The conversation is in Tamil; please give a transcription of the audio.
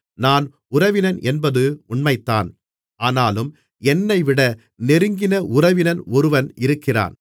நான் உறவினன் என்பது உண்மைதான் ஆனாலும் என்னைவிட நெருங்கின உறவினன் ஒருவன் இருக்கிறான்